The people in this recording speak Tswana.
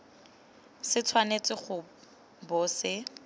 se tshwanetse go bo se